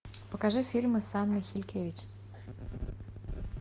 покажи фильмы с анной хилькевич